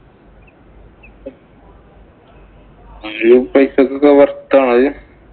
പൈസക്കൊക്കെ worth ആണോ ഇത്?